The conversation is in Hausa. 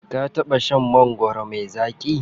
Ka taɓa shan mangwaro me zaƙi?